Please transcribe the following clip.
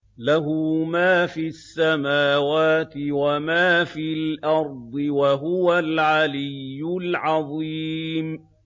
لَهُ مَا فِي السَّمَاوَاتِ وَمَا فِي الْأَرْضِ ۖ وَهُوَ الْعَلِيُّ الْعَظِيمُ